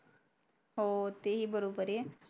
हो ते ही बरोबर